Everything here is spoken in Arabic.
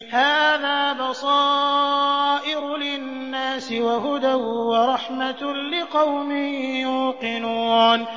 هَٰذَا بَصَائِرُ لِلنَّاسِ وَهُدًى وَرَحْمَةٌ لِّقَوْمٍ يُوقِنُونَ